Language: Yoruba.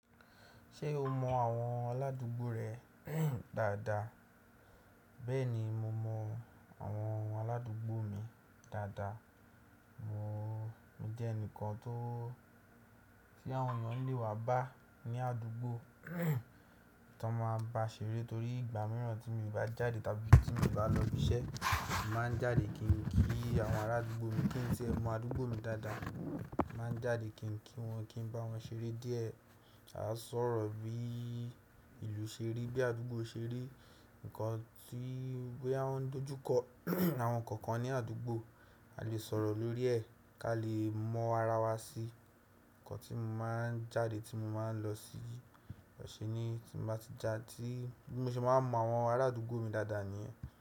Ṣé o mọ àwọn aládùúgbò rẹ dáadáa? Bẹ́ẹ̀ni, mo mọ àwọn aládùúgbò mi dáadáa. Mo mo jẹ́ ẹnìkan tó tí àwọn èèyàn lè wá bá ní àdúgbò, tan máa bá ṣeré torí ìgbà mìíràn tí mo bá jáde tàbí tí mi n bá lọ ibi iṣẹ́, mo màá jáde kí n ki àwọn ará àdúgbò mi kí n tie mọ àdúgbò mi dáadáa. Mo màá n jáde kí n kí wọn, kí n bá wọn ṣeré díẹ̀. Aá sọ̀rọ̀ bí ìlú ṣe rí, bí àdúgbò ṣe rí, ǹnkan tí boya woń dojú kọ àwọn ǹnkan kan ní àdúgbò, a lè sọ̀rọ̀ lórí ẹ̀ ká lè mọ ara wa sí i. Ǹkan tí mo máa ń jáde, tí mo máa ń lọ sí ọ̀sẹ̀ ni tí mo bá ti ja tí bi mo se máa mọ àwọn ará àdúgbò mi dáadáa ni ẹ́